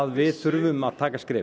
við þurfum að taka skrefið